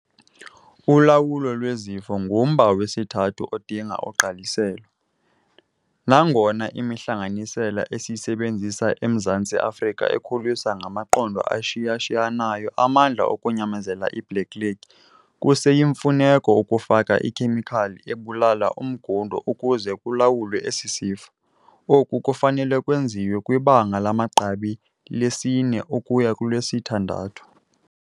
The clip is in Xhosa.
Ulawulo lwezifo ngumba wesithathu odinga ugqaliselo. Nangona imihlanganisela esiyisebenzisa eMzantsi Afrika ikhuliswa ngamaqondo ashiya-shiyanayo amandla okunyamezela iBlackleg, kuseyimfuneko ukufaka ikhemikhali ebulala umngundo ukuze kulawulwe esi sifo. Oku kufanele ukwenziwa kwibanga lamagqabi lesi-4 ukuya kwelesi-6.